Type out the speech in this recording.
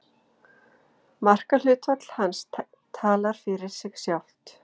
Margir lesblindir virðast einmitt hafa lélega rúmskynjun og hreyfifærni.